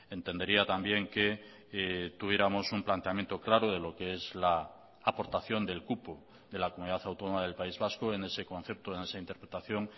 entendería también que tuviéramos un planteamiento claro de lo que es la aportación del cupo de la comunidad autónoma del país vasco en ese concepto en esa interpretación